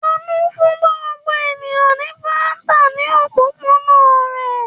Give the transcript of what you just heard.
Àánú fún gbogbo ènìyàn ní Fanta ní òpópónà rẹ̀.